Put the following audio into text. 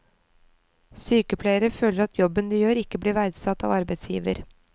Sykepleiere føler at jobben de gjør ikke blir verdsatt av arbeidsgiver.